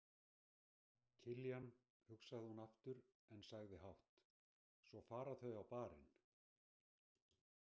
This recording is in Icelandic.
Kiljan, hugsaði hún aftur en sagði hátt: Svo fara þau á Bar- inn.